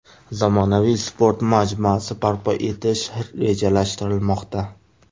Zamonaviy sport majmuasi barpo etish rejalashtirilmoqda.